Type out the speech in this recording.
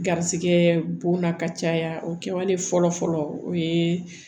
Garisigɛ bonna ka caya o kɛwale fɔlɔ fɔlɔ o ye